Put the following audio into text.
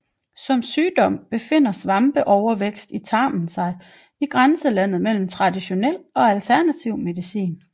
Som sygdom betragtet befinder svampeovervækst i tarmen sig i grænselandet mellem traditionel og alternativ medicin